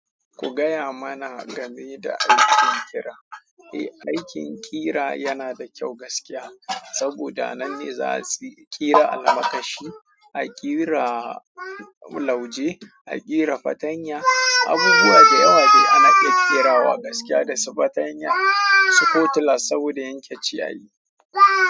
Ku gaya mana game da aikin ƙira. Eh, aikin ƙira yana da kyau gaskiya saboda anan ne za su ƙira almakashi, a ƙira lauje, a ƙira fartanya. Abubuwa da yawa dai ana iya ƙerawa gaskiya, da su fartanya, su kotila saboda yanke ciyayi.